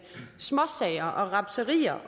småsager og rapserier